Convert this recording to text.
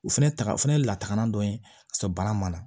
U fɛnɛ ta o fɛnɛ ye lataagalan dɔ ye k'a sɔrɔ baara ma na